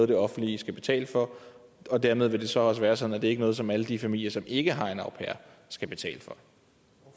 det offentlige skal betale for og dermed vil det så også være sådan at det ikke er noget som alle de familier som ikke har en au pair skal betale